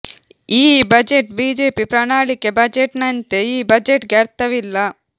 ಈ budget BJP ಪ್ರಣಾಳಿಕೆ budget ನಂತೆ ಈ ಬಜೆಟ್ ಗೆ ಅರ್ಥವಿಲ್ಲ